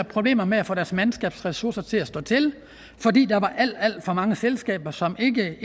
problemer med at få deres mandskabsressourcer til at slå til fordi der var alt alt for mange selskaber som ikke